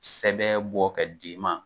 Sɛbɛ bɔ ka di i ma.